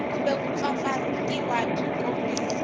kumbe ku mpfampfarhutiwa byi tikombisa